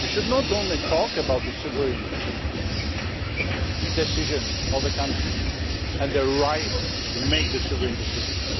we should not only talk about the sovereign decisions of the countries and their right to make sovereign decisions